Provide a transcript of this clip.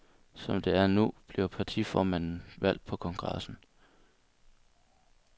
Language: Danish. Som det er nu, bliver partiformanden valgt på kongressen.